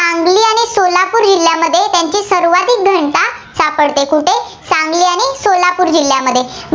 सापडते, कुठे? सांगली आणि सोलापूर जिल्ह्यामध्ये